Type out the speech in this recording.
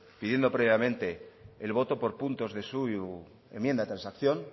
pidiendo previamente el voto por punto de su enmienda de transacción